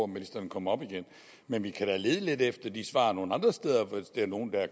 ministeren kommer op igen men vi kan lede lidt efter de svar nogle andre steder hvis der er nogen der er